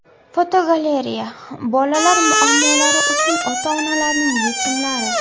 Fotogalereya: Bolalar muammolari uchun ota-onalarning yechimlari.